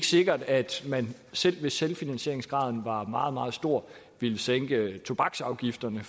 sikkert at man selv hvis selvfinansieringsgraden var meget meget stor ville sænke tobaksafgifterne